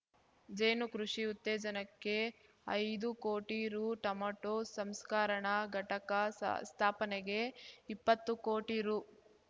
ಜೇನು ಕೃಷಿ ಉತ್ತೇಜನಕ್ಕೆ ಐದು ಕೋಟಿ ರೂ ಟಮೊಟೊ ಸಂಸ್ಕರಣಾ ಘಟಕ ಸಾ ಸ್ಥಾಪನೆಗೆ ಇಪ್ಪತ್ತು ಕೋಟಿ ರೂ